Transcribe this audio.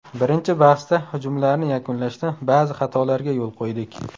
Birinchi bahsda hujumlarni yakunlashda ba’zi xatolarga yo‘l qo‘ydik.